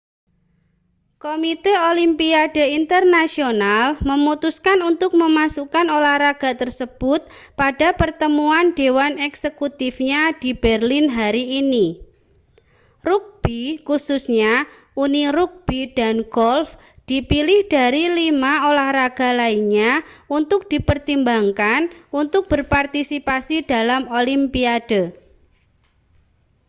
komite olimpiade internasional memutuskan untuk memasukkan olahraga tersebut pada pertemuan dewan eksekutifnya di berlin hari ini rugbi khususnya uni rugbi dan golf dipilih dari lima olahraga lainnya untuk dipertimbangkan untuk berpartisipasi dalam olimpiade